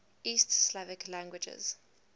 east slavic languages